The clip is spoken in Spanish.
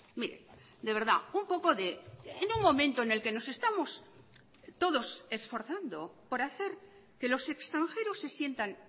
mire de verdad un poco de en un momento en el que nos estamos todos esforzando por hacer que los extranjeros se sientan